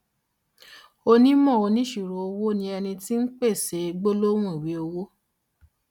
onímò oníṣirò owó ni ẹni tí ń pèsè gbólóhùn ìwé owó.